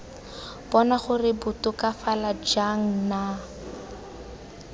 bona gore batokafala jang nna